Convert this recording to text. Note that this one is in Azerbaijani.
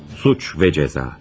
Cinayət və Cəza.